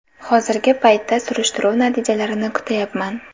Hozirgi paytda surishtiruv natijalarini kutayapman.